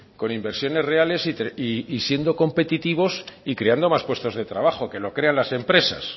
con inversiones reales y siendo competitivos y creando más puestos de trabajo que los crean las empresas